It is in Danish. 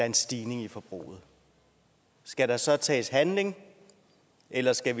en stigning i forbruget skal der så tages handling eller skal